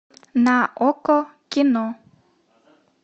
на окко кино